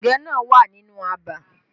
Ẹ̀gẹ́ náà wà nínú abà